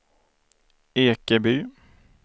Ekeby